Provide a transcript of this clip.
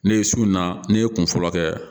Ne ye sunna ne ye kun fɔlɔ kɛ